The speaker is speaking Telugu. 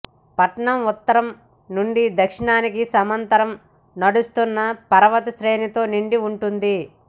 పట్టణం ఉత్తరం నుండి దక్షిణానికి సమాంతర నడుస్తున్న పర్వత శ్రేణులతో నిండి ఉంటుంది